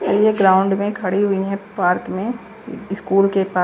ये ग्राउंड मे खड़ी हुई है पार्क में स्कूल के पार्क --